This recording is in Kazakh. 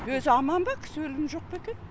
өзі аман ба кісі өлімі жоқ пе екен